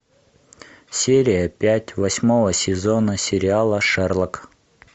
серия пять восьмого сезона сериала шерлок